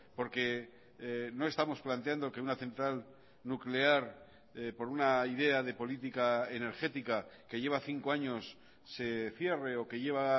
porque no estamos planteando que una central nuclear por una idea de política energética que lleva cinco años se cierre o que lleva